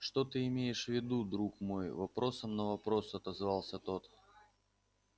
что ты имеешь в виду друг мой вопросом на вопрос отозвался тот